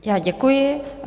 Já děkuji.